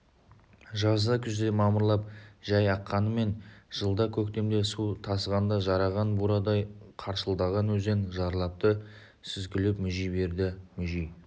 жазда күзде мамырлап жай аққанымен жылда көктемде су тасығанда жараған бурадай қаршылдаған өзен жарлапты сүзгілеп мүжи береді мүжи